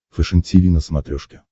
фэшен тиви на смотрешке